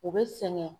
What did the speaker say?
U bɛ sɛgɛn